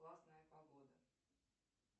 классная погода